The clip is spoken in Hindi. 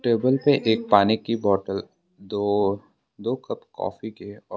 टेबल पे एक पानी की बॉटल दो दो कप कॉफी के है और--